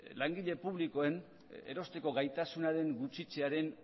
langile publikoen erosteko gaitasunaren gutxitzearen